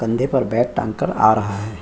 कंधे पर बैग टांगकर आ रहा है।